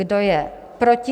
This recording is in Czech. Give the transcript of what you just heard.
Kdo je proti?